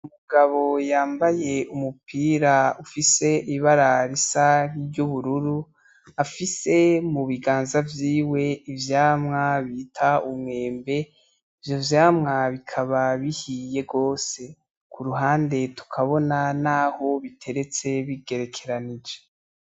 Umugabo yambaye umupira ufise ibara risa nk'iry'ubururu afise mu biganza vyiwe ivyamwa bita umwembe. Ivyo vyamwa bikaba bihiye gwose. Ku ruhande tukabona naho biteretse bigerekeranije.